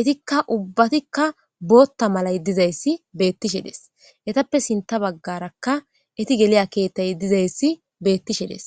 itikka ubbatikka bootta malay dizayssi beettishe des etappe sinta baggaraka eti geliya keettay dizayssi beettishedes